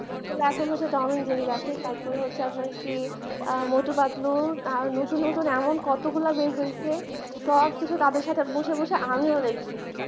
এখন হচ্ছে tom and jerry cartoon দেখে তারপর হচ্ছে আপনার কি মোটু পাতলু নতুন নতুন এমন কতগুলো বের হয়েছে সবকিছু তাদের বসে বসে আমিও দেখি।